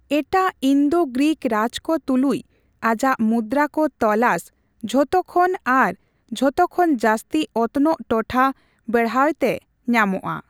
ᱮᱴᱟᱜ ᱤᱱᱫᱳᱼᱜᱨᱤᱠ ᱨᱟᱡᱽ ᱠᱚ ᱛᱩᱞᱩᱪ ᱟᱡᱟᱜ ᱢᱩᱫᱫᱨᱟ ᱠᱚ ᱛᱚᱞᱟᱥ ᱡᱷᱚᱛᱚᱠᱷᱚᱱ ᱟᱨ ᱡᱷᱚᱛᱚᱠᱷᱚᱱ ᱡᱟᱹᱥᱛᱤ ᱚᱛᱱᱚᱜ ᱴᱚᱴᱷᱟ ᱵᱮᱲᱦᱟᱣᱛᱮ ᱧᱟᱢᱚᱜᱼᱟ ᱾